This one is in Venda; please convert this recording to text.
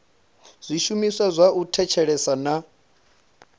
zwishumiswa zwa u thetshelesa na